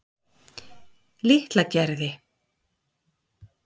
Litlagerði